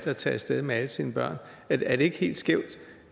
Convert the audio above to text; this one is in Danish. at tage af sted med alle sine børn er det ikke helt skævt